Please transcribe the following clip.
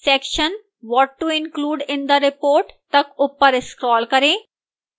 section what to include in the report तक ऊपर scroll करें